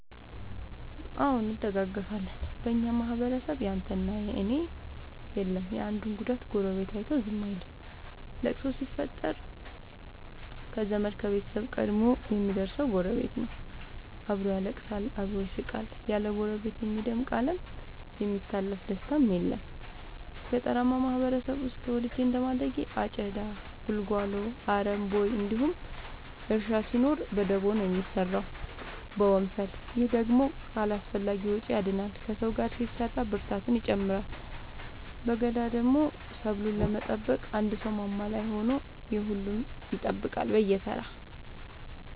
አዎ እንደጋገፋለን በኛ ማህበረሰብ ያንተ እና የኔ የለም የአንዱን ጉዳት ጎረቤቱ አይቶ ዝም አይልም። ለቅሶ ችግር ሲፈጠር ከዘመድ ከቤተሰብ ቀድሞ የሚደር ሰው ጎረቤት ነው። አብሮ ያለቅሳል አብሮ ይስቃል ያለ ጎረቤት የሚደምቅ አለም የሚታለፍ ደስታም የለም። ገጠርአማ ማህበረሰብ ውስጥ ተወልጄ እንደማደጌ አጨዳ ጉልጎሎ አረም ቦይ እንዲሁም እርሻ ሲኖር በደቦ ነው የሚሰራው በወንፈል። ይህ ደግሞ ከአላስፈላጊዎቺ ያድናል ከሰው ጋር ሲሰራ ብርታትን ይጨምራል። በገዳደሞ ሰብሉን ለመጠበቅ አንድ ሰው ማማ ላይ ሆኖ የሁሉም ይጠብቃል በየተራ።